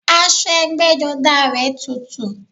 Aṣọ ẹgbẹ́jọdá rẹ̀ tutù